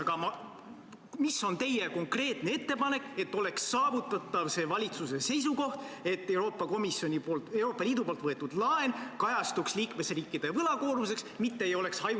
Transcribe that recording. Aga milline on teie konkreetne ettepanek, et saavutada see valitsuse seisukoht, et Euroopa Liidu võetud laen kajastuks liikmesriikide võlakoormuses, mitte ei oleks hajutatud ...